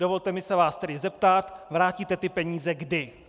Dovolte mi se vás tedy zeptat - vrátíte ty peníze kdy?